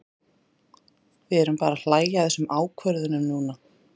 Við erum bara að hlæja að þessum ákvörðunum núna.